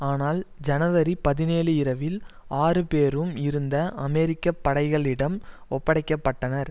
ஆனால் ஜனவரி பதினேழு இரவில் ஆறு பேரும் இருந்த அமெரிக்க படைகளிடம் ஒப்படைக்கப்பட்டனர்